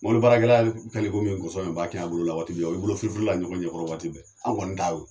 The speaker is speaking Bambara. Mobili baarakɛla kɛlen komi nkɔsɔn e b'a kin a bolo la waati bɛ. O ye bolo firifiri la ɲɔgɔn ɲɛ kɔrɔ waati bɛɛ. An' kɔni ta yo